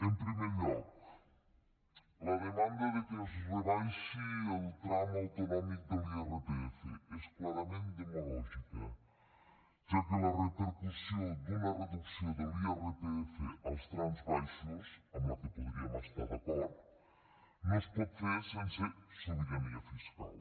en primer lloc la demanda de que es rebaixi el tram autonòmic de l’irpf és clarament demagògica ja que la repercussió d’una reducció de l’irpf als trams baixos amb la que podríem estar d’acord no es pot fer sense sobirania fiscal